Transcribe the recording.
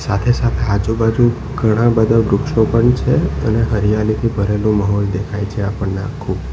સાથે-સાથે આજુબાજુ ઘણા બધા વૃક્ષો પણ છે અને હરિયાળીથી ભરેલું માહોલ દેખાય છે આપણને આખું.